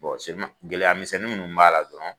gɛlɛyamisɛnnin ninnu b'a la dɔrɔnw